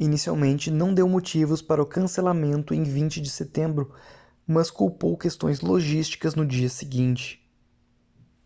inicialmente não deu motivos para o cancelamento em 20 de setembro mas culpou questões logísticas no dia seguinte